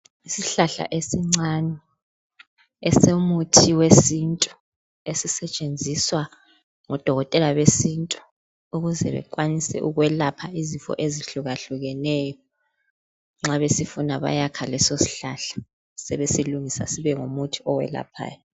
Isihlahla esincane esomuthi wesintu esisetshenziswa ngodokotela besintu ukuze bekwanise ukwelapha izifo ezuhlukahlukeneyo nxa besifuna bayakha leso sihlahla sebesilungisa sibe ngumuthi owelaphayo.